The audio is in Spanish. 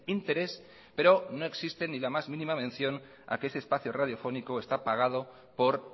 interés pero no existe ni la más mínima mención a que ese espacio radiofónico está pagado por